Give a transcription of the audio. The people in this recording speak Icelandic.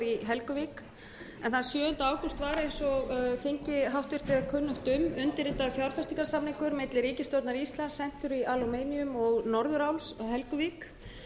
var eins og háttvirtur þingi er kunnugt um undirritaður fjárfestingarsamningur á milli ríkisstjórnar íslands century aluminum og norðuráls helguvík